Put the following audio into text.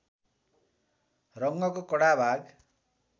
रङ्गको कडा भाग